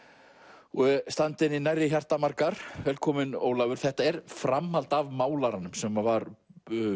og standa henni nærri hjarta margar velkominn Ólafur þetta er framhald af málaranum sem var